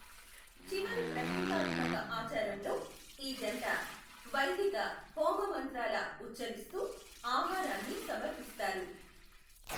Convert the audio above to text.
చివరి ప్రతీకాత్మక ఆచారంలో, ఈ జంట వైదిక హోమ మంత్రాల ఉఛ్చరిస్తూ ఆహారాన్ని సమర్పిస్తారు.